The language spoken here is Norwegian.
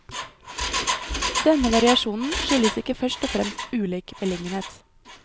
Denne variasjonen skyldtes ikke først og fremst ulik beliggenhet.